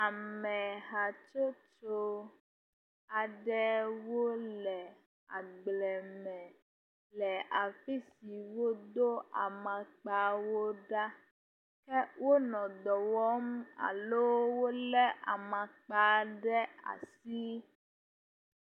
Ame hatsotso aɖe wole agble me le afi si wodo amaŋkpa wo ɖa ke wonɔ dɔ wɔm alo wolé amaŋkpa ɖe asi